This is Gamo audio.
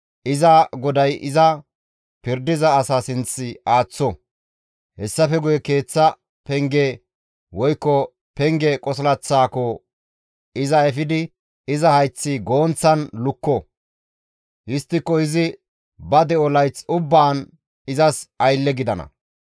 iza goday iza pirdiza asa sinth aaththo; hessafe guye keeththa penge woykko penge qosilaththaako iza efidi iza hayth goonththan lukko. Histtiko izi ba de7o layth ubbaan izas aylle gidana.